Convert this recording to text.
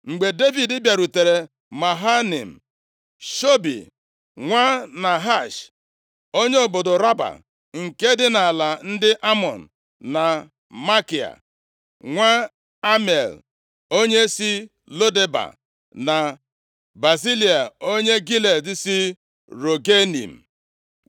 Mgbe Devid bịarutere Mahanaim, Shobi nwa Nahash onye obodo Raba nke dị nʼala ndị Amọn, na Makia + 17:27 Makia bụ nwoke ahụ nabatara Mefiboshet nʼụlọ ya. \+xt 2Sa 9:4\+xt* nwa Amiel onye si Lo Deba, na Bazilai, onye Gilead si Rogelim